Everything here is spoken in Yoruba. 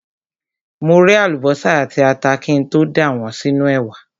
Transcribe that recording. Mo ré àlùbọ́sà àti ata kí n tó dà wọ́n sínú ẹ̀wà.